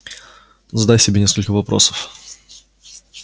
задай себе несколько вопросов